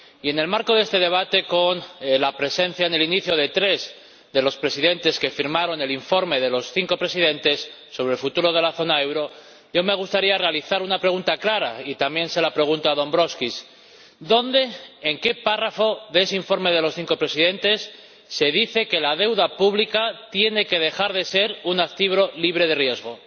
Y, en el marco de este debate, con la presencia en el inicio de tres de los presidentes que firmaron el informe de los cinco presidentes sobre el futuro de la zona del euro, me gustaría realizar una pregunta clara ―y también se lo pregunto a Dombrovskis― ¿dónde, en qué párrafo de ese informe de los cinco presidentes, se dice que la deuda pública tiene que dejar de ser un activo libre de riesgo?